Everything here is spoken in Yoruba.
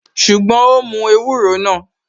Ṣùgbọ́n, ó mú ewúro náà